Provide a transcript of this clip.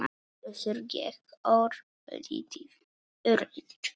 Össur gekk örlítið lengra.